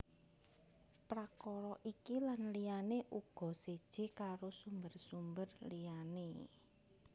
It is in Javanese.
Prakara iki lan liyané uga séjé karo sumber sumber liyané